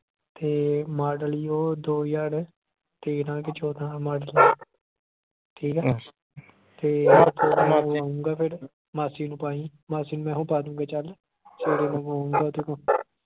ਤੇ model ਈ ਉਹ ਦੋ ਹਜਾਰ ਤੇਰਾਂ ਕਿ ਚੌਂਦਾ ਮਾਰਚ। ਠੀਕ ਆ? ਫਿਰ ਤੇ ਮਾਸੀ ਨੂੰ ਪਾਈ। ਮਾਸੀ ਨੂੰ ਮੈਂ ਹੀ ਪਾ ਦੂੰਗਾ ਚੱਲ